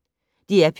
DR P1